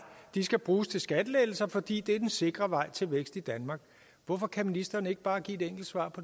de skal bruges til skattelettelser fordi det er den sikre vej til vækst i danmark hvorfor kan ministeren ikke bare give et enkelt svar